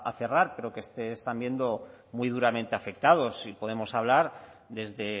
cerrar pero que se están viendo muy duramente afectados y podemos hablar desde